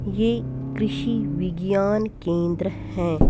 ये कृषि विज्ञान केंद्र है।